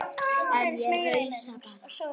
En ég rausa bara.